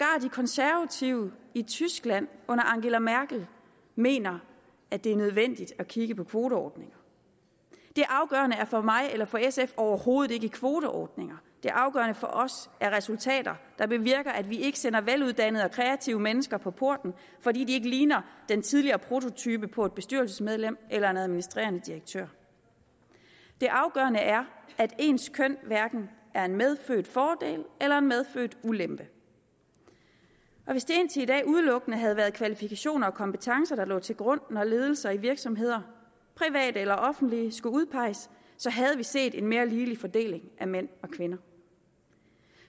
konservative i tyskland under angela merkel mener at det er nødvendigt at kigge på kvoteordninger det afgørende for mig eller for sf er overhovedet ikke kvoteordninger det afgørende for os er resultater der bevirker at vi ikke sætter veluddannede og kreative mennesker på porten fordi de ikke ligner den tidligere prototype på et bestyrelsesmedlem eller en administrerende direktør det afgørende er at ens køn hverken er en medfødt fordel eller en medfødt ulempe og hvis det indtil i dag udelukkende havde været kvalifikationer og kompetencer der lå til grund når ledelser i virksomheder private eller offentlige skulle udpeges så havde vi set en mere ligelig fordeling af mænd og kvinder